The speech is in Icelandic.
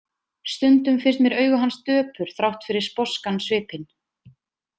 Stundum finnst mér augu hans döpur, þrátt fyrir sposkan svipinn.